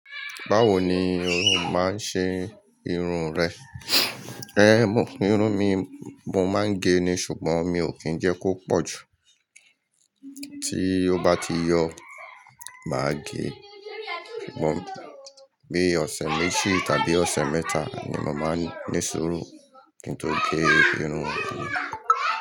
Báwo ni ò máa ń ṣe irun rẹ? Ehn, irun mí mo máa ń gẹ̀ ni sùgbọ́n mi ò kí ń jẹ́ kó pọ̀ jù. Tí ó bá ti yọ̀, màá gẹ̀. Bí ọ̀sẹ̀ méjì tàbí ọ̀sẹ̀ mẹ́ta ni mọ màá ní sùúrù kí n tó gẹ̀ irun mi.